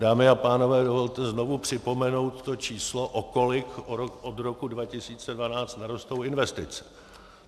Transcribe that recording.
Dámy a pánové, dovolte znovu připomenout to číslo, o kolik od roku 2012 narostou investice.